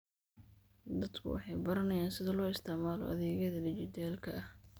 Dadku waxay baranayaan sida loo isticmaalo adeegyada dhijitaalka ah.